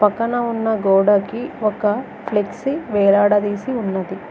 పక్కన ఉన్న గోడకి ఒక ఫ్లెక్సీ వేలాడదీసి ఉన్నది.